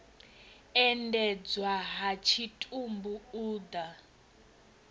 endedzwa ha tshitumbu u ḓa